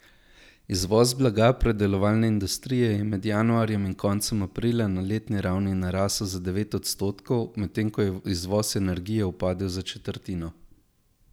Izvoz blaga predelovalne industrije je med januarjem in koncem aprila na letni ravni narasel za devet odstotkov, medtem ko je izvoz energije upadel za četrtino.